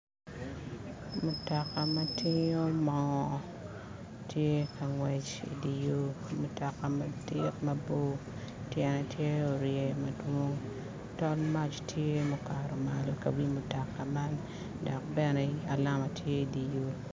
Mutoka ma tingo moo tye ka ngwec i di yo mutoka madit mabor tyene tye orye madwong dol mac tye mukato malo ka wi mutoka man ki bene alum tye i di wiye